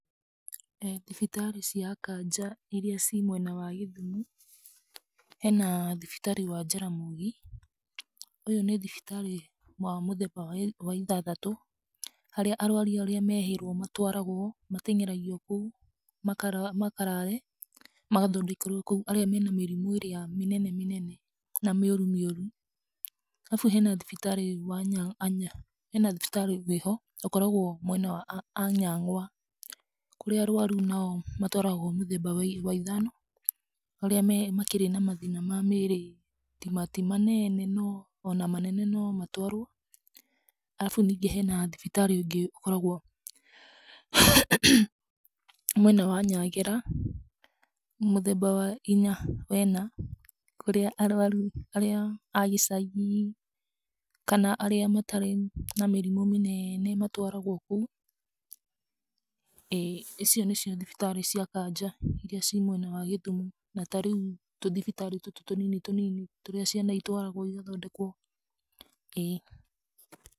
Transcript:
ĩĩ thibitarĩ cia kanja ĩria cĩ mwena wa Gĩthumo, hena thibitarĩ wa Jaramogi, ũyũ nĩ thibitarĩ wa mũthemba wa ĩthathatũ, haria arwaru arĩa mehĩirwo matwaragwo, mateng'eragio kũu makarare magathondekerwo kũu, arĩa mena mĩrimũ ĩria mĩnene mĩnene na mĩũru mĩũru. Arabu hena thibitarĩ wĩho ũkoragwo mwena wa anyang'wa kũrĩa arwaru nao matwaragwo mũthemba wa ithano arĩa makĩrĩ na mathĩna ma mĩrĩ, ti manene no ona manene nomatwarwo. Arabu ningĩ hena thibitarĩ ũngĩ ũkoragwo mwena wa nyangĩra mũthemba wa ĩnya, kũrĩa arwaru arĩa agĩcagi kana arĩa matarĩ na mĩrimũ mĩnene matwaragwo kũu. Icio nĩcio thibitarĩ cia kanja ĩria cia mwena wa gĩthumo na tarĩu tũthibitarĩ tũtũ tũnini tũnini tũrĩa ciana ĩtwaragwo ũgathondekwo.